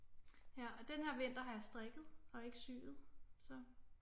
Ja og den her vinter har jeg strikket og ikke syet så